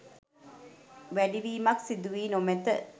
වැඩිවීමක් සිදුවී නොමැත.